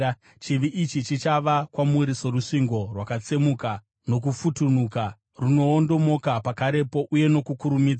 chivi ichi chichava kwamuri sorusvingo, rwakatsemuka nokufutunuka, runoondomoka pakarepo uye nokukurumidza.